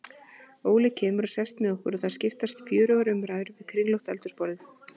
Óli kemur og sest með okkur og það skapast fjörugar umræður við kringlótt eldhúsborðið.